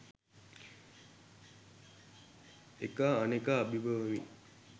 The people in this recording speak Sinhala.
එකා අනෙකා අභිබවමින්